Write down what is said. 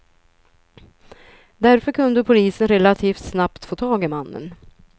Därför kunde polisen relativt snabbt få tag i mannen.